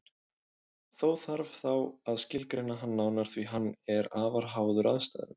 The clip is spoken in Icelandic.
Þó þarf þá að skilgreina hann nánar því að hann er afar háður aðstæðum.